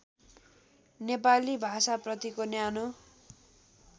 नेपाली भाषाप्रतिको न्यानो